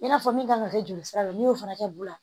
I n'a fɔ min kan ka kɛ joli sira la n'i y'o fana kɛ bu la